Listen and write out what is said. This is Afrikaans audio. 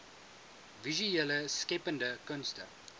visuele skeppende kunste